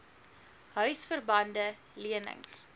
huisver bande lenings